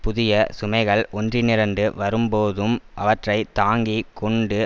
புதிய சுமைகள் ஒன்றுணிரண்டு வரும் போதும் அவற்றை தாங்கி கொண்டு